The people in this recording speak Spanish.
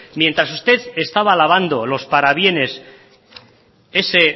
mientras usted estaba lavando los parabienes ese